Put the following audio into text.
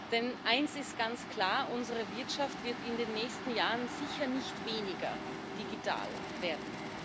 Denn eines ist ganz klar Unsere Wirtschaft wird in den nächsten Jahren sicher nicht weniger digital werden.